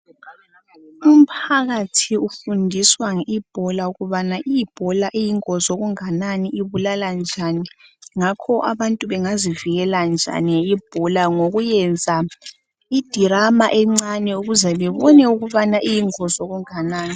umphakathi ufundiswa i ebola ukubana i ebola iyingozi okungakanani ibulala njani ngakho abantu bangazivikela njani i ebola ngokuyenza i drama encane ukuze babone ukubana iyingozi okunganani